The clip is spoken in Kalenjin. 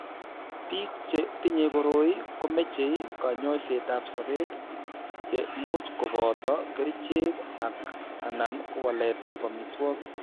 Biko che tinye koroi ko meche kanyoisetab sobet, che much ko boto kerichek ak/anan waletab amitwogik.